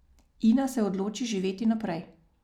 Ina se odloči živeti naprej.